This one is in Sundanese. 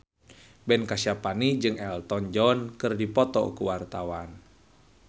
Ben Kasyafani jeung Elton John keur dipoto ku wartawan